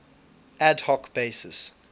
ad hoc basis